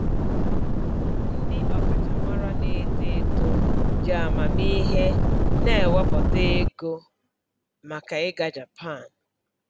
Ndị ọkachamara na-eto eto ji amamihe na-ewepụta ego maka ịga Japan.